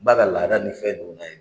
Ba la laadala ni fɛn nun ka ɲi